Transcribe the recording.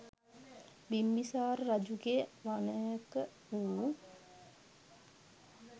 බිම්බිසාර රජුගේ වනයක වූ